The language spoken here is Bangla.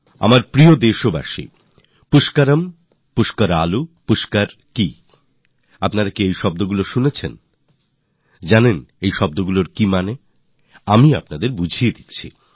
আমার প্রিয় দেশবাসীরা পুষ্করম পুষ্করালু পুষ্করঃ আপনারা কখনও কি এই শব্দগুলি শুনেছেন আপনারা কি জানেন আপনারা জানেন এগুলি কী আমি বলছি